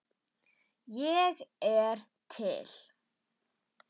Ég er til.